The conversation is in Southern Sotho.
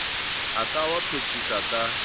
a ka wa phethisa ka